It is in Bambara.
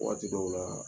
Waati dɔw la